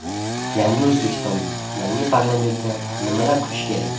Yangi O‘zbekistonning yangi parlamentidan nimalar kutish kerak?